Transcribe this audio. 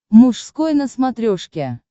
мужской на смотрешке